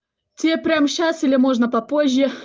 тебе прямо сейчас или можно попозже